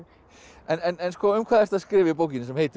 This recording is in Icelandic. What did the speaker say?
en um hvað ertu að skrifa í bókinni sem heitir